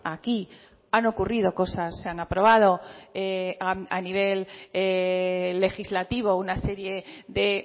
a aquí han ocurrido cosas se han aprobado a nivel legislativo una serie de